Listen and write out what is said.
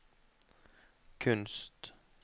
kunst